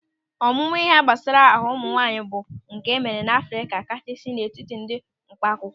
Ọmụmụ ịhe gbasara ahụ nwaanyị bụ nke emere n'Afrịka kachasị n'etiti ndị mkpa akwụkwọ.